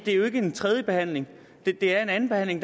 er jo ikke en tredjebehandling det er en andenbehandling